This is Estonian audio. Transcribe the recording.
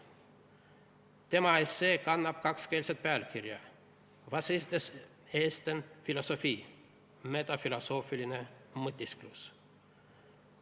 Tema essee kannab kakskeelset pealkirja "Was ist des Esten Philosophie: Metafilosoofiline mõtisklus".